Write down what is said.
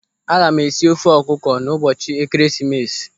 Aga m esi ofe ọkụkọ n'ụbọchị Ekeresimesi.